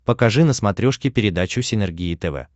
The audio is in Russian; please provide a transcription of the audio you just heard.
покажи на смотрешке передачу синергия тв